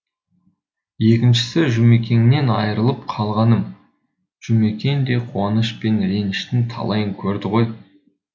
екіншісі жұмекеннен айырылып қалғаным жұмекен де қуаныш пен реніштің талайын көрді ғой